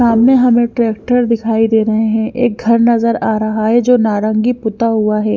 सामने हमें ट्रैक्टर दिखाई दे रहे हैं एक घर नजर आ रहा है जो नारंगी पुता हुआ है।